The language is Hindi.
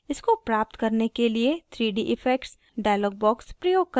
इसको प्राप्त करने के लिए 3d effects dialog box प्रयोग करें